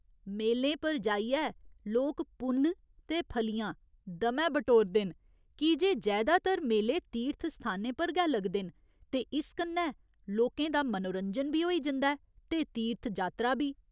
मेलें पर जाइयै लोक पुन्न ते फलियां दमैं बटोरदे न की जे जैदातर मेले तीर्थ स्थानें पर गै लगदे न ते इस कन्नै लोकें दा मनोरंजन बी होई जंदा ऐ ते तीर्थ जात्तरा बी।